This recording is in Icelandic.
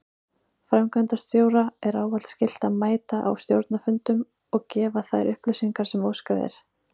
Framkvæmdastjóra er ávallt skylt að mæta á stjórnarfundum og gefa þær upplýsingar sem óskað er.